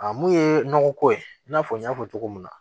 A mun ye nɔgɔko ye i n'a fɔ n y'a fɔ cogo min na